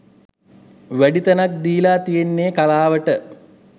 වැඩි තැනක් දීලා තියෙන්නෙ කලාවට.